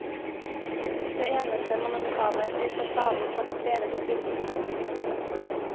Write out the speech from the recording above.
Det eneste monumentale blir fasaden på de fredede bygningene.